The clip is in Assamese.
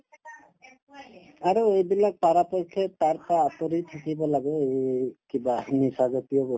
আৰু এইবিলাক পৰাপক্ষে তাৰ পৰা আতৰি থাকিব লাগে এই কিবা নিচাজাতীয় বস্তু